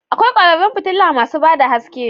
Akwai kwararan fitila masu ba da haske